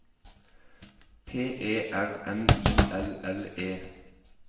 P E R N I L L E